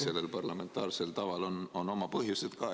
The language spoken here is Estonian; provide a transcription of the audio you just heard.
Sellel parlamentaarsel taval on oma põhjused ka.